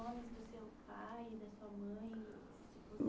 Nome do seu pai e da sua mãe?